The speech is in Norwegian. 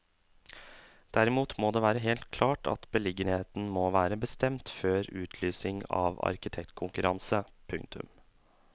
Derimot må det være helt klart at beliggenheten må være bestemt før utlysning av arkitektkonkurranse. punktum